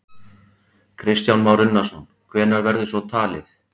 Kristján Már Unnarsson: Hvenær verður svo talið?